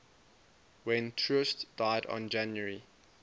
when troost died on january